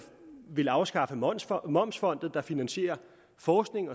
ville afskaffe momsfondet momsfondet der finansierer forskning